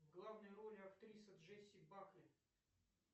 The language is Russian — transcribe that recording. в главной роли актриса джесси бакли